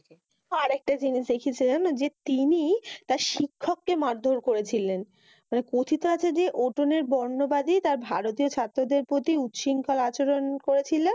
হ্যাঁ আর একটা জিনিস দেখেছি জান। যে, তিনি তার শিক্ষকে মার দড় করছিলেন। মানি কথিত আছে যে, ওটনের বর্নবাদী তার ভারতীয় ছাত্রদের প্রতি উচরিক্ষল আচরণ করেছিল।